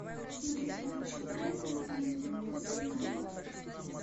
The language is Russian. смотреть матч брайтон ньюкасл юнайтед